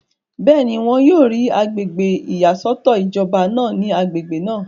bẹ́ẹ̀ni, wọn yóò rí agbègbè ìyàsọ́tọ̀ ìjọba náà ní agbègbè náà